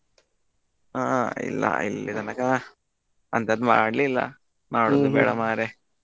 ಹಾ ಇಲ್ಲಾ ಇಲ್ಲಿ ತನಕಾ ಅಂತದ್ ಮಾಡ್ಲಿಲ್ಲಾ ಮಾಡೋದು ಬೇಡ ಮಾರಾಯಾ.